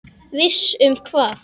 Viss um hvað?